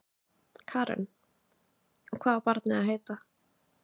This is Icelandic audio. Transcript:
Karen: Og hvað á barnið að heita?